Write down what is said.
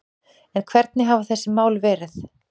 En hvernig hafa þessi mál verið